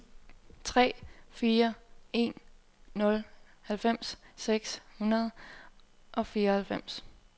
tre fire en nul halvfems seks hundrede og fireoghalvfems